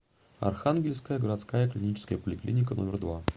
архангельская городская клиническая поликлиника номер два